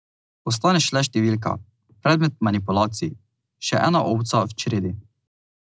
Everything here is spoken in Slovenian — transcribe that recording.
Ostaneš le številka, predmet manipulacij, še ena ovca v čredi.